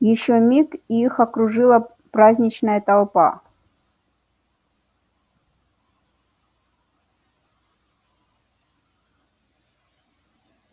ещё миг и их окружила праздничная толпа